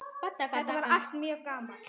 Þetta var allt mjög gaman.